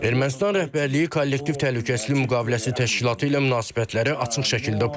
Ermənistan rəhbərliyi kollektiv təhlükəsizlik müqaviləsi təşkilatı ilə münasibətləri açıq şəkildə pozur.